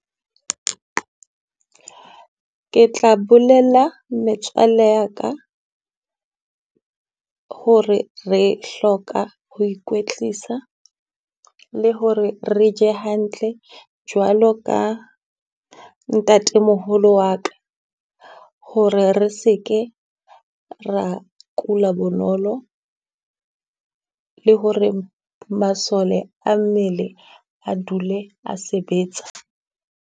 Ke tla bolella metswalle ya ka hore re hloka ho ikwetlisa, le ho re re je hantle jwalo ka ntatemoholo wa ka. Ho re re se ke ra kula bonolo, le ho re masole a mmele a dule a sebetsa.